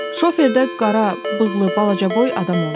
Şoferdə qara, bığlı, balacaboy adam olub.